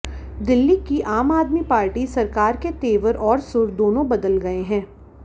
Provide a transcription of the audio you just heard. दिल्ली की आम आदमी पार्टी सरकार के तेवर और सुर दोनों बदल गए हैं